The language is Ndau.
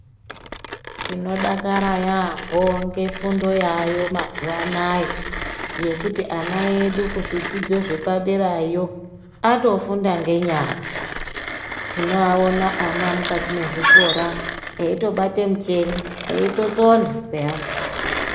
Tinodakara yambo, ngefundo yayo mazuwanaya, yekuti ana edu kuzvidzidzo zvepaderayo, atofunda ngenyara. Tinowawona ana mukati mezvikora eyitobate mucheni, eyitotsona peyani.